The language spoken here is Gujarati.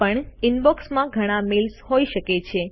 પણ ઇનબોક્ષમાં ઘણા મેઈલ્સ હોઈ શકે છે